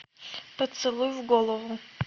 поцелуй в голову